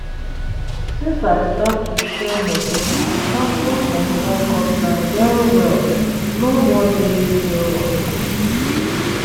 since i start to share moto, my transport money don cut down well well, no more daily fuel wahala.